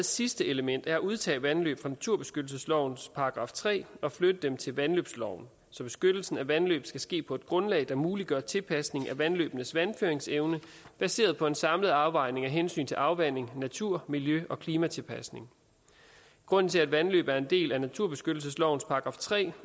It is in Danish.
sidste element er at udtage vandløb fra naturbeskyttelseslovens § tre og flytte dem til vandløbsloven så beskyttelsen af vandløb skal ske på et grundlag der muliggør tilpasning af vandløbenes vandføringsevne baseret på en samlet afvejning af hensyn til afvanding natur miljø og klimatilpasning grunden til at vandløb er en del af naturbeskyttelseslovens § tre